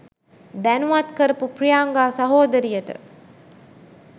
දැනුවත් කරපු ප්‍රියංගා සහෝදරියට